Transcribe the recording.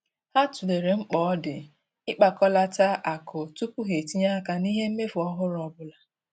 Ha tụlere mkpa ọ di ịkpakọlata akụ tupu ha etinye aka n'ihe mmefu ọhụrụ ọbụla.